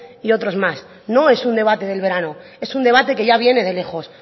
y otros más no es un debate del verano es un debate que ya viene de lejos